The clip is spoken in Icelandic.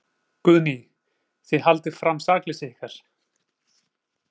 Guðný: Þið haldið fram sakleysi ykkar?